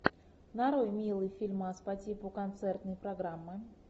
нарой милый фильмас по типу концертной программы